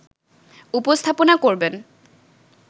উপস্থাপনা করবেন